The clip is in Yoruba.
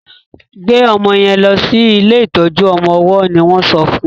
gbe ọmọ yen lò sí ilé ìtọjú ọmọ ọwó ní won sọ fún.